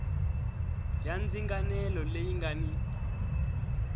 ya ndzinganelo leyi nga ni